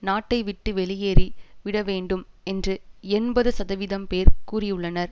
நாட்டைவிட்டு வெளியேறி விடவேண்டும் என்று எண்பது சதவீதம் பேர் கூறியுள்ளனர்